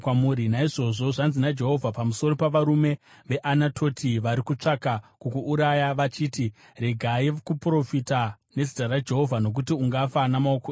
“Naizvozvo zvanzi naJehovha pamusoro pavarume veAnatoti vari kutsvaka kukuuraya, vachiti, ‘Regai kuprofita nezita raJehovha nokuti ungafa namaoko edu,’